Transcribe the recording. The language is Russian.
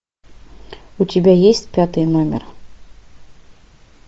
у тебя есть пятый номер